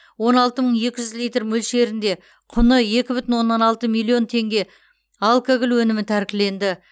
он алты мың екі жүз литр мөлшерінде құны екі бүтін оннан алты миллион теңге алкоголь өнімі тәркіленді